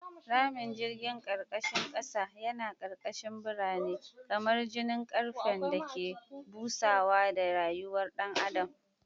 Ramin jirgin karkashin kasa yana karkashin birane, kamar jijin karfen da ke busawa da rayuwar dan adam.